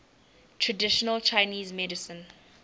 traditional chinese medicine